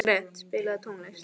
Gret, spilaðu tónlist.